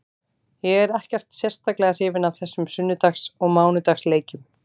Ég er ekkert sérstaklega hrifinn af þessum sunnudags og mánudags leikjum.